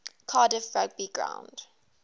cardiff rugby ground